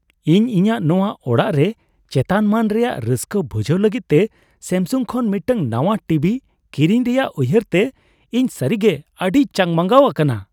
ᱤᱧ ᱤᱧᱟᱹᱜ ᱱᱟᱣᱟ ᱚᱲᱟᱜ ᱨᱮ ᱪᱮᱛᱟᱱᱼᱢᱟᱹᱱ ᱨᱮᱭᱟᱜ ᱨᱟᱹᱥᱠᱟᱹ ᱵᱷᱩᱡᱟᱹᱣ ᱞᱟᱹᱜᱤᱫ ᱛᱮ ᱥᱮᱹᱢᱥᱩᱝ ᱠᱷᱚᱱ ᱢᱤᱫᱴᱟᱝ ᱱᱟᱣᱟ ᱴᱤ ᱵᱷᱤ ᱠᱤᱨᱤᱧ ᱨᱮᱭᱟᱜ ᱩᱭᱦᱟᱹᱨ ᱛᱮ ᱤᱧ ᱥᱟᱹᱨᱤᱜᱮ ᱟᱹᱰᱤᱧ ᱪᱟᱜᱽᱼᱢᱟᱜᱟᱣ ᱟᱠᱟᱱᱟ ᱾